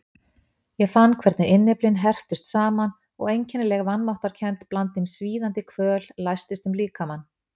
Ég fann hvernig innyflin herptust saman og einkennileg vanmáttarkennd blandin svíðandi kvöl læstist um líkamann.